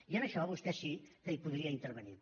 i en això vostè sí que hi podria intervenir